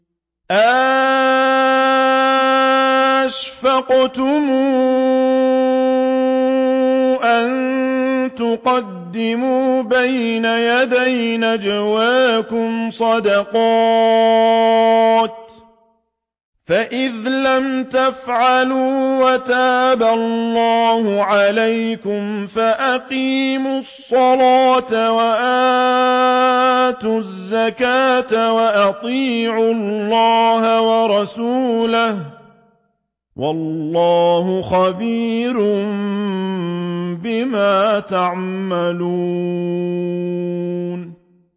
أَأَشْفَقْتُمْ أَن تُقَدِّمُوا بَيْنَ يَدَيْ نَجْوَاكُمْ صَدَقَاتٍ ۚ فَإِذْ لَمْ تَفْعَلُوا وَتَابَ اللَّهُ عَلَيْكُمْ فَأَقِيمُوا الصَّلَاةَ وَآتُوا الزَّكَاةَ وَأَطِيعُوا اللَّهَ وَرَسُولَهُ ۚ وَاللَّهُ خَبِيرٌ بِمَا تَعْمَلُونَ